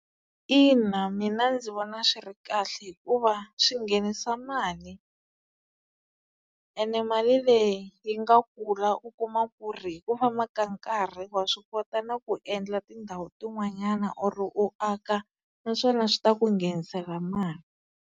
Ina, mina ndzi vona swi ri kahle hikuva swi nghenisa mali ene mali leyi yi nga kula u kuma ku ri hi ku famba ka nkarhi wa swi kota na ku endla tindhawu tin'wanyana or u aka naswona swi ta ku nghenisela mali.